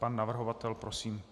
Pan navrhovatel, prosím.